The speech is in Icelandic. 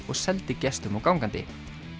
og seldi gestum og gangandi